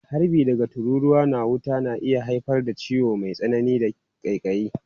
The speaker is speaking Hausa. Harbi daga tururuwa na wuta na iya haifar da ciwo mai tsanani da ƙaiƙayi.